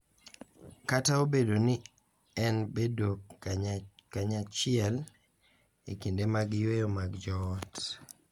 Kata obedo ni en bedo kanyachiel e kinde mag yweyo mag joot,